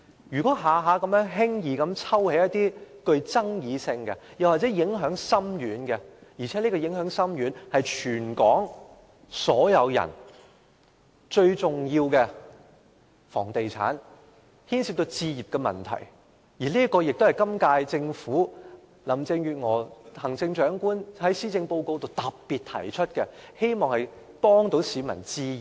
如果每次都輕易抽起具爭議性或影響深遠的法案，令全港市民最關注的房地產和置業問題......行政長官林鄭月娥在施政報告中亦特別提到，希望協助市民置業。